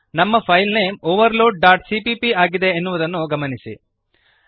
ನಮ್ಮ file name overloadಸಿಪಿಪಿ ಆಗಿದೆ ಎನ್ನುವುದನ್ನು ಗಮನಿಸಿರಿ